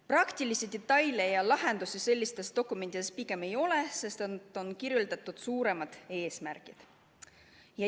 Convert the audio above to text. Praktilisi detaile ja lahendusi sellistes dokumentides pigem ei ole, neis on kirjeldatud suuremaid eesmärke.